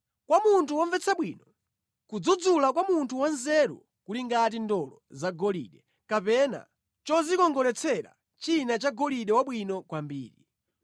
Kwa munthu womvetsa bwino, kudzudzula kwa munthu wanzeru kuli ngati ndolo zagolide kapena chodzikongoletsera china cha golide wabwino kwambiri.